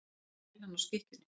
Eins og nælan á skikkjunni.